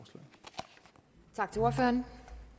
sådan